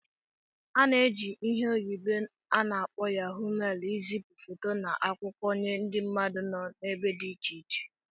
A na-eji ihe oyibo n'akpo Yahó mailu izipu foto na akwụkwọ nye ndị mmadụ nọ n'ebe dị iche iche